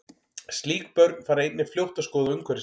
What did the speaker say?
Slík börn fara einnig fljótt að skoða umhverfi sitt.